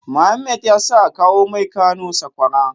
Mohammed yasa akawo mai Kano sakwara